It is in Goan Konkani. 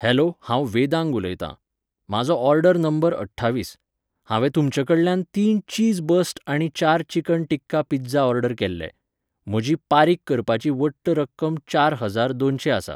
हॅलो हांव वेदांग उलयतां. म्हाजो ऑर्डर नंबर अठ्ठावीस. हांवें तुमच्या कडल्यान तीन चीज बर्स्ट आनी चार चिकन टिक्का पिझ्झा ऑर्डर केल्ले. म्हजी पारीक करपाची वट्ट रक्कम चार हजार दोनशें आसा.